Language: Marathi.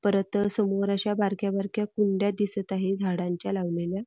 परत समोर अश्या बारक्या बारक्या कुंड्या दिसत आहे झाडांच्या लावलेल्या.